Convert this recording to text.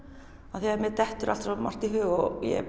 af því að mér dettur alltaf svo margt í hug og ég